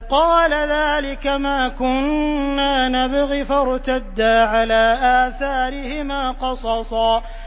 قَالَ ذَٰلِكَ مَا كُنَّا نَبْغِ ۚ فَارْتَدَّا عَلَىٰ آثَارِهِمَا قَصَصًا